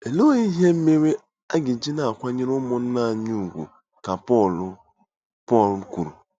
Olee ihe mere a ga-eji na-akwanyere ụmụnna anyị ùgwù ka Pọl Pọl kwuru?